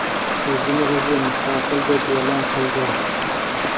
o‘zini o‘zi mustaqil deb e’lon qildi.